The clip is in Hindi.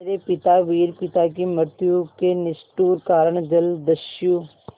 मेरे पिता वीर पिता की मृत्यु के निष्ठुर कारण जलदस्यु